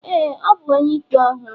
ee, ọ bu onye-ikpe ọhụrụ.